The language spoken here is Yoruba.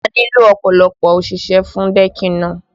A nílò ọ̀pọ̀lọpọ̀ òṣìṣẹ́ fún decking náà